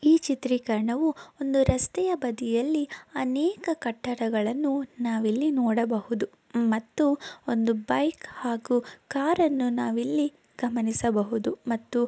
ಈ ಚಿತ್ರೀಕರಣವು ಒಂದು ರಸ್ತೆಯ ಬದಿಯಲ್ಲಿ ಅನೇಕ ಕಟ್ಟಡಗಳನ್ನು ನಾವಿಲ್ಲಿ ನೋಡಬಹುದು. ಮತ್ತು ಬೈಕ್ ಹಾಗು ಕಾರನ್ನು ನಾವಿಲ್ಲಿ ಗಮನಿಸಬಹುದು. ಮತ್ತು--